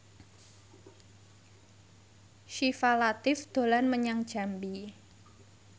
Syifa Latief dolan menyang Jambi